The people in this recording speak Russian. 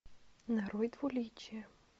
нарой двуличие